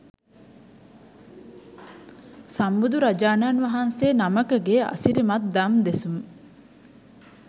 සම්බුදුරජාණන් වහන්සේ නමකගේ අසිරිමත් දම් දෙසුම්